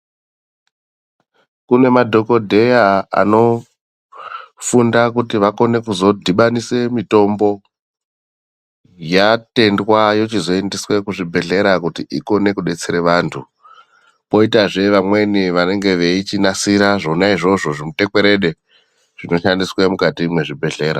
Kune madhokodheya anfunda kuti akone kuzodhubanisa mutombo yatendwa yochizoendeswe kuzvibhedhlera kuti ikone kudetsera vantu poitazve vamweni vanenge veichinasira zvona izvozvo zvimutekwerede zvinoshandiswe mukati mwezvibhedhlera.